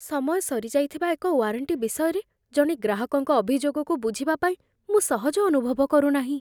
ସମୟ ସରିଯାଇଥିବା ଏକ ୱାରେଣ୍ଟି ବିଷୟରେ ଜଣେ ଗ୍ରାହକଙ୍କ ଅଭିଯୋଗକୁ ବୁଝିବା ପାଇଁ ମୁଁ ସହଜ ଅନୁଭବ କରୁନାହିଁ।